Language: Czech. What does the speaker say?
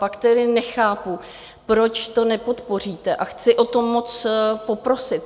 Pak tedy nechápu, proč to nepodpoříte, a chci o to moc poprosit.